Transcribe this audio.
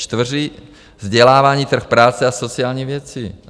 Čtvrtý vzdělávání, trh práce a sociální věci.